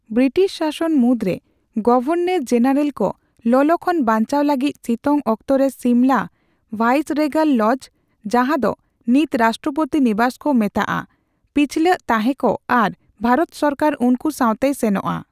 British ᱥᱟᱥᱚᱱ ᱢᱩᱫᱽᱨᱮ, governor general ᱠᱚ ᱞᱚᱞᱚ ᱠᱷᱚᱱ ᱵᱟᱧᱪᱟᱣ ᱞᱟᱹᱜᱤᱫ ᱥᱤᱛᱳᱝ ᱚᱠᱛᱚ ᱨᱮ ᱥᱤᱢᱞᱟ ᱵᱷᱟᱭᱥᱟᱨᱮᱜᱟᱞ ᱞᱚᱡᱽ, ᱡᱟᱦᱟᱸ ᱫᱚ ᱱᱤᱛ ᱨᱟᱥᱴᱚᱯᱚᱛᱤ ᱱᱤᱵᱟᱥ ᱠᱚ ᱢᱮᱛᱟᱜᱼᱟ ᱾ ᱯᱤᱪᱷᱞᱟᱹᱜ ᱛᱟᱦᱮᱸ ᱠᱚ ᱟᱨ ᱵᱷᱟᱨᱚᱛ ᱥᱚᱨᱠᱟᱨ ᱩᱱᱠᱩ ᱥᱟᱣᱛᱮᱭ ᱥᱮᱱᱚᱜᱼᱟ ᱾